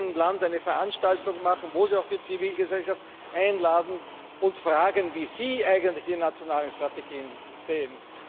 Werden Sie in jedem Land eine Veranstaltung organisieren, wo Sie auch die Zivilgesellschaft einladen und fragen, wie sie eigentlich ihre nationalen Strategien sehen?